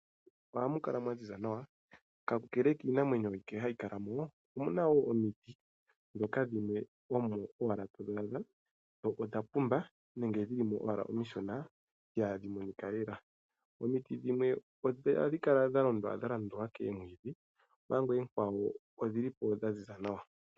Mokuti ohamukala mwa ziza nawa, Kakele kiinamwenyo mbyono hayi kalamo omuna woo omiti ndhoka dhimwe omo owala todhi adha dho odhapumba nenge dhilimo owala omishona ihadhi monika lela. Omiti dhimwe ohadhi kala dha omanga oonkwawo odhilipo dhaziza nawa.